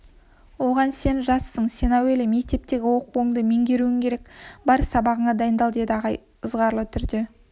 оған сен жассың сен әуелі мектептегі оқуыңды меңгеруің керек бар сабағыңа дайындал деді ағай ызғарлы түрде